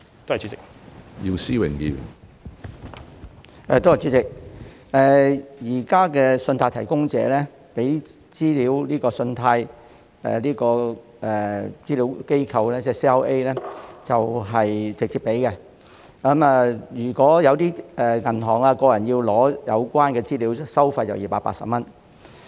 主席，目前，信貸提供者會直接向信貸資料服務機構提供資料。如果銀行或個人需要索取有關資料，收費是280元。